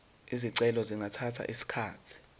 izicelo zingathatha isikhathi